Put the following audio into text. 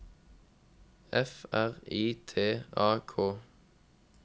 F R I T A K